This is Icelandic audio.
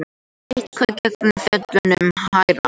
Eitthvað gengur fjöllunum hærra